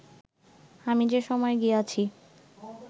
আমি যে সময় গিয়াছি